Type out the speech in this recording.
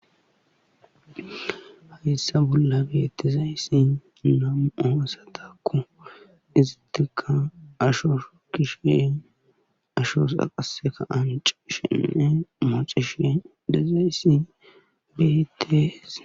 Hayssa bolla betizayti nam'u asatakko izatikka ashuwa shuukishe ashoz qassekka anccishenne muxxishe dizayssi beetees.